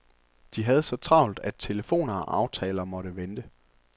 De havde så travlt, at telefoner og aftaler måttet vente.